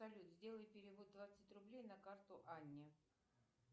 салют сделай перевод двадцать рублей на карту анне